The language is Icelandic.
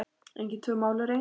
Engin tvö mál eru eins.